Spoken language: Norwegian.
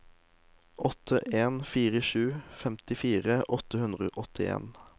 åtte en fire sju femtifire åtte hundre og åttien